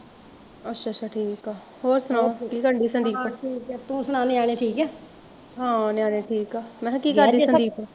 ਅੱਛਾ ਅੱਛਾ ਠੀਕ ਐ ਹੋਰ ਸੁਣਾਓ ਕੀ ਕਰਨ ਡਈ ਸੰਦੀਪ ਹਾਂ ਨਿਆਣੇ ਠੀਕ ਆ ਮੈਂ ਕਿਹਾਂ ਕੀ ਕਰਦੀ ਸੰਦੀਪ